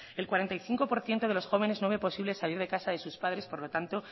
el cuarenta y cinco por ciento de los jóvenes no ve posible salir de casa de sus padres por lo tanto